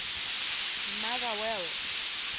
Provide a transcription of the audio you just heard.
motherwell